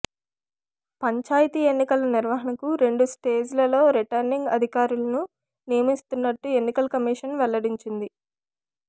పంచాయతీ ఎన్నికల నిర్వహణకు రెండు స్టేజ్లలో రిటర్నింగ్ అధికారులను నియమిస్తున్నట్టు ఎన్నికల కమిషన్ వెల్లడించింది